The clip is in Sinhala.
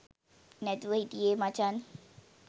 නැතුව හිටියේ මචන්.